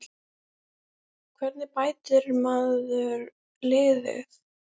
Hvernig bætir maður liðið?